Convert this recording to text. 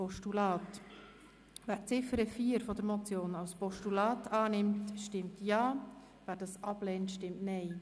Wer die Ziffer 4 als Postulat annehmen will, stimmt Ja, wer dies ablehnt, stimmt Nein.